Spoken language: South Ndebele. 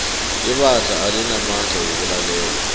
ibandla alinamandla wokulalela